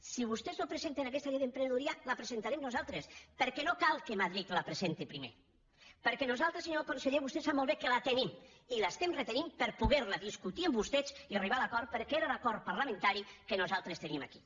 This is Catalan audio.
si vostès no presenten aquesta llei d’emprenedoria la presentarem nosaltres perquè no cal que madrid la presenti primer perquè nosaltres senyor conseller vostè sap molt bé que la tenim i l’estem retenint per poder la discutir amb vostès i arribar a l’acord perquè era l’acord parlamentari que nosaltres teníem aquí